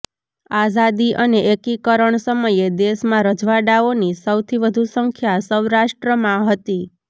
આઝાદી અને એકીકરણ સમયે દેશમાં રજવાડાઓની સૌથી વધુ સંખ્યા સૌરાષ્ટ્રમાં હતી